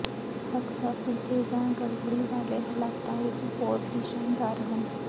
ਹਕਸਾ ਭਿੱਜੇ ਜਾਂ ਗੜਬੜੀ ਵਾਲੇ ਹਾਲਾਤਾਂ ਵਿਚ ਬਹੁਤ ਹੀ ਸ਼ਾਨਦਾਰ ਹਨ